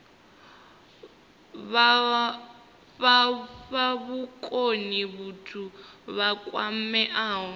fha vhukoni vhathu vha kwameaho